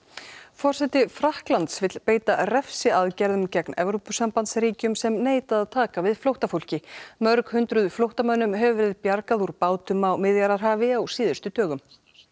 forseti Frakklands vill beita refsiaðgerðum gegn Evrópusambandsríkjum sem neita að taka við flóttafólki mörg hundruð flóttamönnum hefur verið bjargað úr bátum á Miðjarðarhafi á síðustu dögum